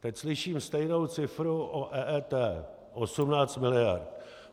Teď slyším stejnou cifru o EET - 18 miliard.